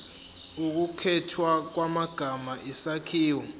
ukukhethwa kwamagama isakhiwo